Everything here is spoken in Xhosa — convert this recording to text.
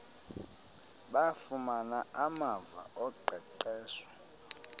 bafumana amava oqeqesho